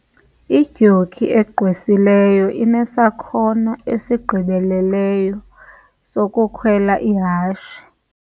Idyoki egqwesileyo inesakhono esigqibeleleyo sokukhwela ihashe.